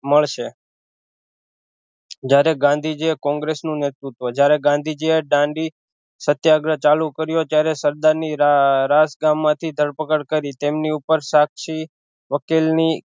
મળશે જ્યારે ગાંધીજી એ કોંગ્રેસ નું નેતૃત્વ જ્યારે ગાંધીજી એ દાંડી સત્યાગ્રહ ચાલુ કર્યો ત્યારે સરદાર ની રાજ ગામમાંથી ધરપકડ કરી તેમની ઉપર સાક્ષી વકીલ ની